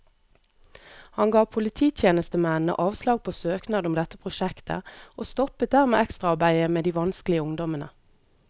Han ga polititjenestemennene avslag på søknad om dette prosjektet, og stoppet dermed ekstraarbeidet med de vanskelige ungdommene.